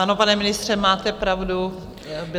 Ano, pane ministře, máte pravdu.